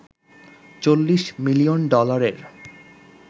৪০ million ডলারের